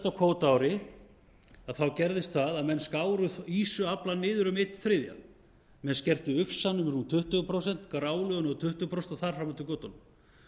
á síðasta kvótaári gerðist það að menn skáru ýsuaflann niður um eina þrjá menn skertu ufsann um rúm tuttugu prósent grálúðuna um tuttugu prósent og þar fram eftir götunum